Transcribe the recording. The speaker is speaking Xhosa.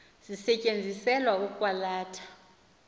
zisetyenziselwa ukwa latha